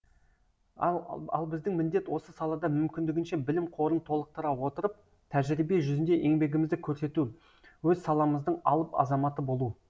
ал біздің міндет осы салада мүмкіндігінше білім қорын толықтыра отырып тәжірибе жүзінде еңбегімізді көрсету өз саламыздың алып азаматы болу